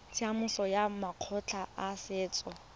tsamaisong ya makgotla a setso